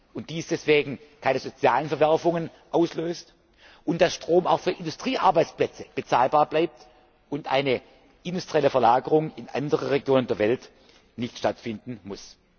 und dies deswegen keine sozialen Verwerfungen auslöst und dass Strom auch für Industriearbeitsplätze bezahlbar bleibt und eine industrielle Verlagerung in andere Regionen der Welt nicht stattfinden muss.